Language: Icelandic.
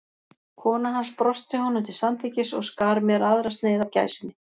Kona hans brosti honum til samþykkis og skar mér aðra sneið af gæsinni.